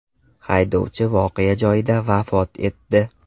Haydovchi voqea joyida vafot etdi.